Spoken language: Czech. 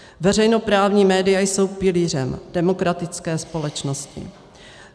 Veřejnoprávní média jsou pilířem demokratické společnosti.